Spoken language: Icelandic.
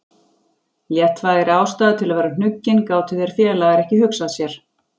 Léttvægari ástæðu til að vera hnuggin gátu þeir félagar ekki hugsað sér.